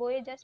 বয়ে যা